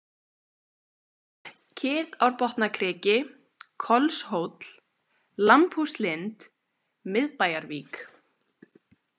Kiðárbotnakriki, Kolshóll, Lambhúslind, Miðbæjarvík